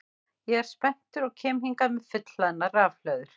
Ég er spenntur og kem hingað með fullhlaðnar rafhlöður.